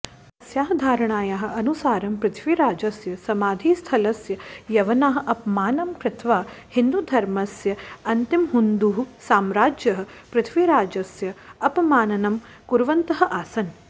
तस्याः धारणायाः अनुसारं पृथ्वीराजस्य समाधिस्थलस्य यवनाः अपमानं कृत्वा हिन्दुधर्मस्य अन्तिमहुन्दुसम्राजः पृथ्वीराजस्य अपमाननं कुर्वन्तः आसन्